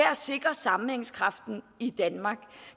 at sikre sammenhængskraften i danmark